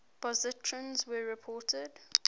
positrons were reported